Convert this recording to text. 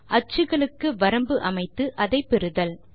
அச்சுக்களுக்கு வரம்பு அமைத்து அதை பெறுதல்